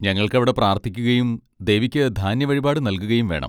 ഞങ്ങൾക്കവിടെ പ്രാർത്ഥിക്കുകയും ദേവിക്ക് ധാന്യവഴിപാട് നൽകുകയും വേണം.